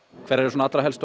hverjar eru helstu